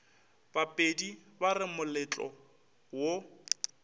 bapedi ba re moletlo wo